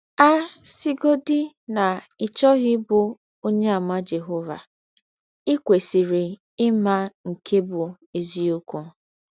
A sịgọdị na ị chọghị ịbụ Ọnyeàmà Jehọva, i kwesịrị ịma nke bụ́ eziọkwụ.